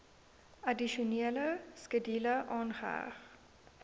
addisionele skedule aangeheg